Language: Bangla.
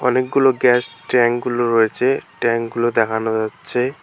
অনেকগুলো গ্যাস ট্যাঙ্কগুলো রয়েছে ট্যাঙ্কগুলো দেখানো আচ্ছে ।